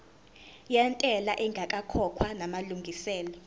yentela ingakakhokhwa namalungiselo